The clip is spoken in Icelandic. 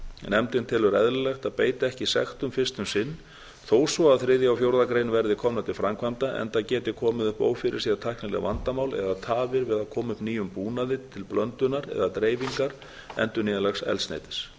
nefndin telur eðlilegt að beita ekki sektum fyrst um sinn þó svo að þriðja og fjórða grein verði komnar til framkvæmda enda geti komið upp ófyrirséð tæknileg vandamál eða tafir við að koma upp nýjum búnaði til íblöndunar eða dreifingar endurnýjanlegs eldsneytis